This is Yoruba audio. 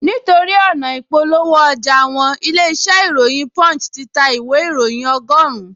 Nítorí ọ̀nà ị̀polówó ọjà wọn, ilé-iṣẹ́ ìròyìn punch ti ta ìwé ìróyìn ọgọ́rùn-un